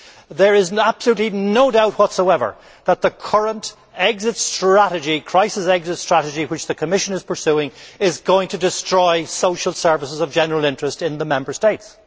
There is absolutely no doubt whatsoever that the current crisis exit strategy which the Commission is pursuing is going to destroy social services of general interest in the Member States.